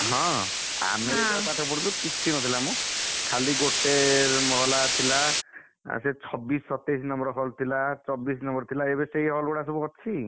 ହଁ ଆମେ ଯେତବେଳେ ପାଠ ପଢୁଥିଲୁକିଛି ନଥିଲାମ ଖାଲି ଗୋଟେ ମହଲା ଥିଲା, ଆଉ ସେ ଛବିଶ, ସତେଇଶ number hall ଥିଲା ଚବିଶ number ଥିଲାଏବେ ସେଇ hall ଗୁଡାସବୁ ଅଛି?